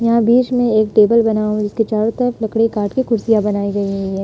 यहाँ बीच में एक टेबल बना और इसके चारों तरफ लकड़ी काटके कुर्सियां बनाई गई हुई है।